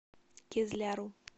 кизляру